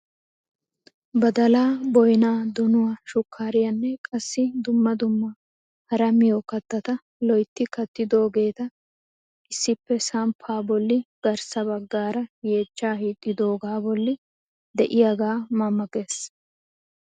Badalaa, boynaa, dinuwaa, shukariyaanne qassi dumma dumma hara miyoo kattata loytti kattidoogeta issi samppaa bolli garssa baggaara yeechchaa hiixxidogaa bolli de'iyaagee ma ma ges!